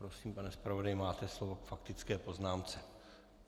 Prosím, pane zpravodaji máte slovo k faktické poznámce.